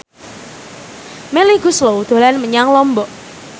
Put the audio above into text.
Melly Goeslaw dolan menyang Lombok